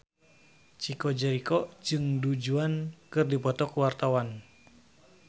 Chico Jericho jeung Du Juan keur dipoto ku wartawan